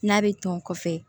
N'a bɛ tɔn kɔfɛ